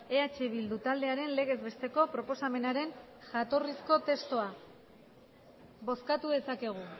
eh bildu taldearen legezbesteko proposamenaren jatorrizko testua bozkatu dezakegu